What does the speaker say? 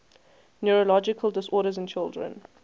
neurological disorders in children